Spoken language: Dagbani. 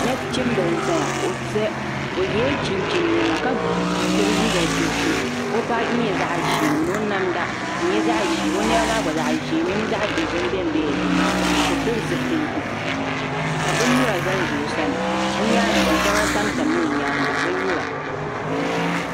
Nachin bili n zaya o yiɛla chinchini nɛma ka gbubi liiga dozim o baaji yɛla zaɣi zɛɛ ni o namda di yɛla zaɣi ʒeeo nɛma maa gba zaɣi ʒe e mini zaɣi dozim bɛmbɛla dini ka o pili zupiligu ka bini nyura za n za o sani o yɛanga gba shɛŋa tam tam la o yɛanga bini nyura.